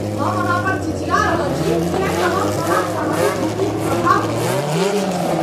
हम अहाँ पर चिचिया रहल छी किएक तँ हम अहाँक सहानुभूतिक अभाव देखि उत्तेजित छी।